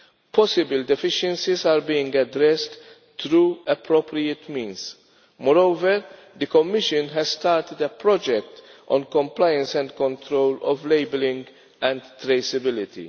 Possibly deficiencies are being addressed through appropriate means. Moreover, the Commission has started a project on compliance and control of labelling and traceability.